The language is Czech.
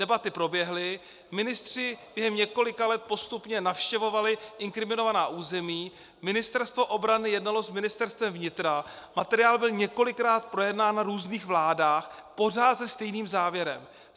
Debaty proběhly, ministři během několika let postupně navštěvovali inkriminovaná území, Ministerstvo obrany jednalo s Ministerstvem vnitra, materiál byl několikrát projednán na různých vládách pořád se stejným závěrem.